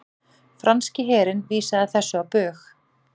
Franski herinn vísaði þessu á bug